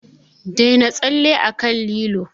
Daina tsalle akan lilo!